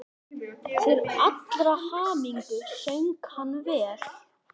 Til allrar hamingju söng hann vel!